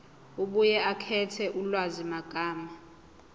abuye akhethe ulwazimagama